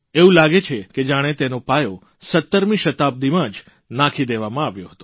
એવું લાગે છે જાણે તેનો પાયો 17મી શતાબ્દીમાં જ નાખી દેવામાં આવ્યો હતો